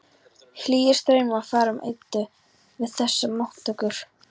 Hlýir straumar fara um Eddu við þessar móttökur.